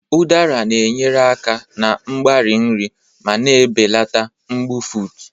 Udara na-enyere aka na mgbari nri ma na-ebelata mbufụt.